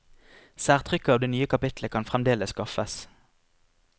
Særtrykket av det nye kapitlet kan fremdeles skaffes.